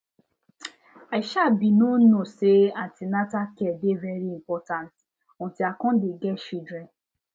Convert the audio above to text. i um bin no know say an ten atal care dey very important until i come get children